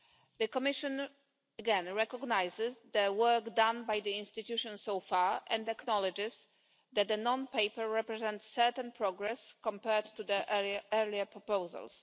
The Commission again recognises the work done by the institutions so far and acknowledges that the non paper represents certain progress compared to the earlier proposals.